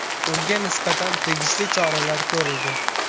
Unga nisbatan tegishli choralar ko‘rildi.